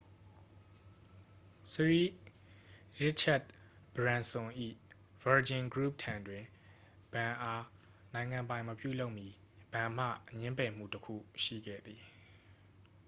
စရီရစ်ချက်တ်ဘရန်စွန် ၏ virgin group ထံတွင် ဘဏ်အား နိုင်ငံပိုင်မပြုလုပ်မီ ဘဏ်မှ ငြင်းပယ်မှုတစ်ခုရှိခဲ့သည်